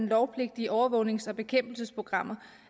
lovpligtige overvågnings og bekæmpelsesprogrammer